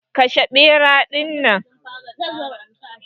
Kashe bera din.